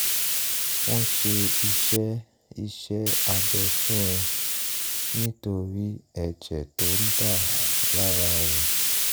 wọ́n ṣe iṣẹ́ iṣẹ́ abẹ fún un nítorí ẹ̀jẹ̀ tó ń dà lára rẹ̀